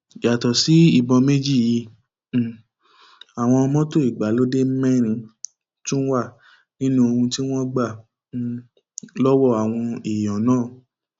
yàtọ sí ìbọn méjì yìí um àwọn mọtò ìgbàlódé mẹrin tún wà nínú ohun tí wọn gbà um lọwọ àwọn èèyàn náà